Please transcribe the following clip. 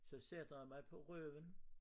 Så sætter jeg mig på røven